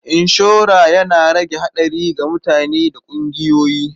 Inshora yana rage haɗari ga mutane da ƙungiyoyi.